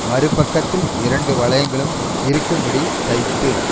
மறுபக்கத்தில் இரண்டு வளையங்களும் இருக்கும்படி தைத்து